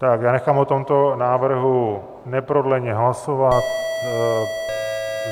Tak já nechám o tomto návrhu neprodleně hlasovat.